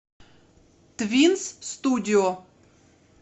твинс студио